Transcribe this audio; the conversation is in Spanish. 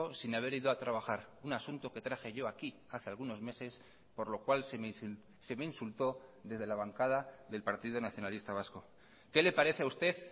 sin haber ido a trabajar un asunto que traje yo aquí hace algunos meses por lo cual se me insultó desde la bancada del partido nacionalista vasco qué le parece a usted